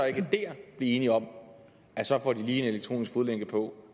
ikke der blive enige om at så får de lige elektronisk fodlænke på